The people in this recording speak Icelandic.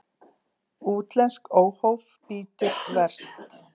Útlenskt óhóf bítur verst.